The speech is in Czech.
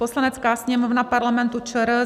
"Poslanecká sněmovna Parlamentu ČR